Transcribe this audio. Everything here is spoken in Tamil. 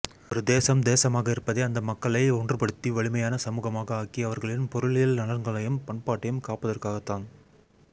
ஒரு தேசம் தேசமாக இருப்பதே அந்த மக்களை ஒன்றுபடுத்தி வலிமையான சமூகமாக ஆக்கி அவர்களின் பொருளியல்நலன்களையும் பண்பாட்டையும் காப்பதற்காகத்தான்